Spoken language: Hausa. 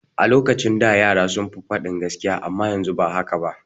A lokacin da yara sun fi faɗin gaskiya amma yanzu ba haka ba.